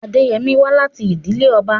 Adeyemi wá láti ìdílé ọba.